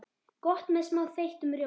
Gott með smá þeyttum rjóma.